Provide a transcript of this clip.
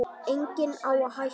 Enginn á hættu.